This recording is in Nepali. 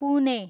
पुने